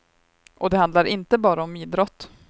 Och det handlar inte bara om idrott.